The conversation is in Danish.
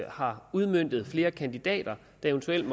har udmøntet sig i flere kandidater der eventuelt